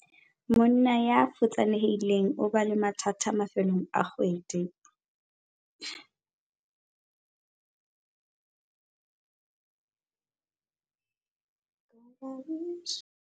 Monna ya futsanehileng o ba le mathata mafelong a kgwedi.